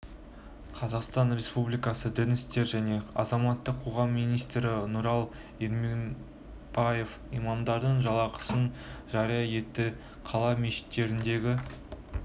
қазақстан республикасы дін істері және азаматтық қоғам министрі нұрлан ермекбаев имамдардың жалақысын жария етті қала мешіттеріндегі